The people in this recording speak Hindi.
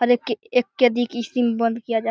हर एक एक कैदी को इसी में बंद किया जात --